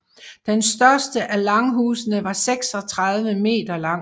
Den største af langhusene var 36 m lang